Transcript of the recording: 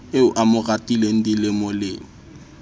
eo a mo ratileng dilemolemo